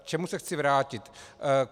K čemu se chci vrátit.